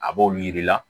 A b'olu yir'i la